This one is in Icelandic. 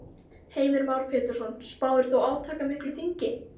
Heimir Már Pétursson: Spáir þú átakamiklu þingi?